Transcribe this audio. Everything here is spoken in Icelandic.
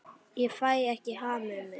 Ég fæ ekki hamið mig.